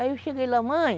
Aí eu cheguei lá, mãe,